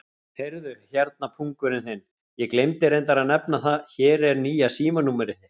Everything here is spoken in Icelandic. Heyrðu hérna, pungurinn þinn, ég gleymdi reyndar að nefna það, hér er nýja símanúmerið þitt.